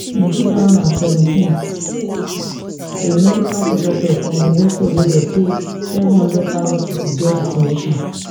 in two thousand and seventeena medical professor from di university of lagos say seven hundred thousand pipo get di condition